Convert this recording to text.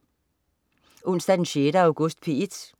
Onsdag den 6. august - P1: